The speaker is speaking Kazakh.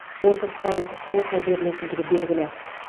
отыз пайыздық квота берілгендігі белгілі